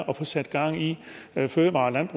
at få sat gang i fødevare